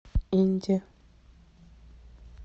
инди